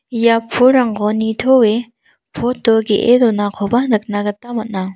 ia pulrangko nitoe pot o ge·e donakoba nikna gita man·a.